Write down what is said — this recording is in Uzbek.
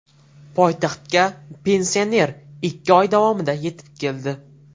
Poytaxtga pensioner ikki oy davomida yetib keldi.